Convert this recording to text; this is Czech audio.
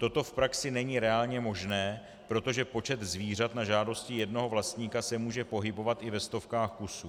Toto v praxi není reálně možné, protože počet zvířat na žádosti jednoho vlastníka se může pohybovat i ve stovkách kusů.